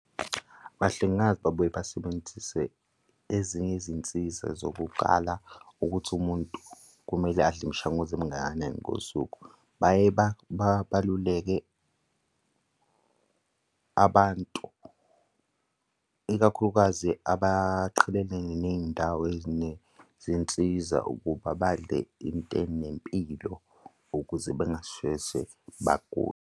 Abahlengikazi babuye basebenzise ezinye izinsiza zokuqala ukuthi umuntu kumele adle imishanguzo emingakanani ngosuku. Baye baluleke abantu, ikakhulukazi, abaqhelelene ney'ndawo ezinezinsiza ukuba badle into enempilo ukuze bengasheshe bagule.